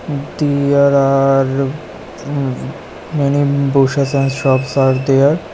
There are hu many bhushes and are there.